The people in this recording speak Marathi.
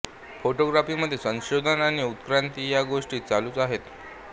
फोटोग्राफी मध्ये संशोधन आणि उत्क्रांती या गोष्टी चालूच आहेत